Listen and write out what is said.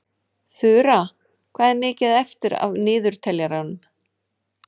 Þura, hvað er mikið eftir af niðurteljaranum?